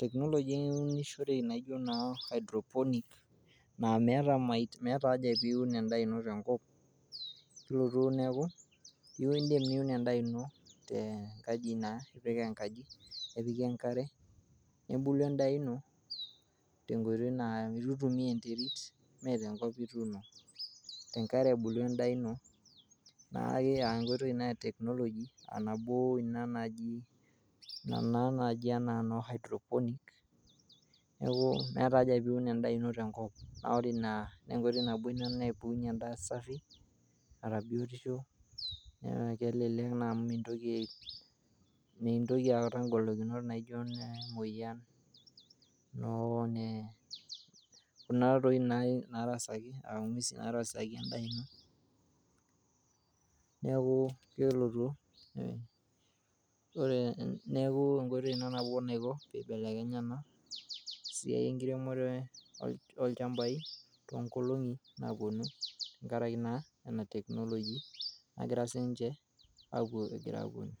Technology eunishoreki naijo naa hydroponic naa meeta haja piun endaa ino tenkop, kelotu neeku indim niun endaa ino tenkaji, naa ipik enkaji nepiki enkare nebulu endaa ino tenkoitoi naa eitu eitumia enterit, mee tenkop ituuno, tenkare ebulu endaa ino naa enkoitoi ina e Technology aa nabo ina naji ina naa naji anaa noo hydroponic, neeku meeta haja piun endaa ino tenkop, naa ore ina naa enkoitoi nabo napukunye endaa safi naata biotisho, naa kelelek naa amu mintoki, mintoki aata ngolikinot naijo nemoyian, kuna doi naarasaki endaa ino. Neeku enkoitoi ina nabo naiko peibelekenya ena siai enkiremore olchambai toonkolong'i naapuonu tenkarake naa ena Technology nagira sii ninche aapuo egira aapuonu.